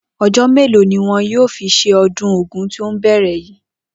O̩jó̩ mélòó ni wo̩n yóò fi s̩e o̩dún Ògún tí ó ń bè̩rè̩ yìí?